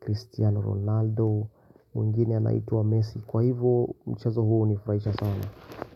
Cristiano Ronaldo mwingine anaitwa Messi kwa hivo mchezo huo hunifuraisha sana.